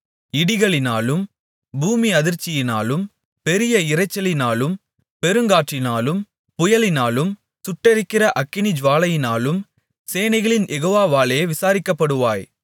இடிகளினாலும் பூமி அதிர்ச்சியினாலும் பெரிய இரைச்சலினாலும் பெருங்காற்றினாலும் புயலினாலும் சுட்டெரிக்கிற அக்கினிஜூவாலையினாலும் சேனைகளின் யெகோவாவாலே விசாரிக்கப்படுவாய்